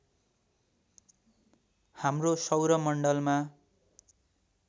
हाम्रो सौर मण्डलमा